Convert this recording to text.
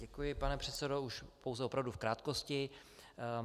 Děkuji, pane předsedo, už pouze opravdu v krátkosti.